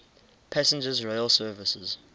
passenger rail services